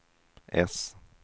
S